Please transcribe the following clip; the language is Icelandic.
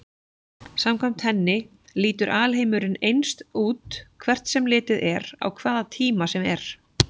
Samkvæmt henni lítur alheimurinn eins út hvert sem litið er á hvaða tíma sem er.